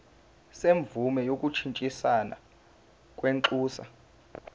semvume yokushintshisana kwinxusa